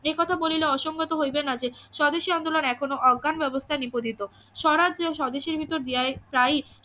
এ কথা বলিলে অসঙ্গত হইবে না যে স্বদেশী আন্দোলন এখনো অজ্ঞ্যান ব্যবস্থায় নিপজিত স্বরাজ ও স্বদেশীর ভিতর দিয়া এই স্ট্রাইক